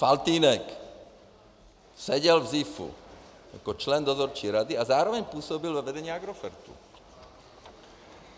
Faltýnek seděl v ZIFu jako člen dozorčí rady a zároveň působil ve vedení Agrofertu.